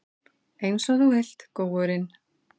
Einsog þú vilt, góurinn.